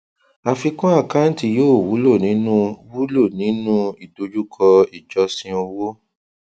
àfikún àkáǹtì yóò wulo nínú wulo nínú ìdojúkọ ìjọsìn owó